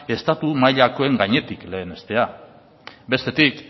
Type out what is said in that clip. estatu mailakoen gainetik lehenestea bestetik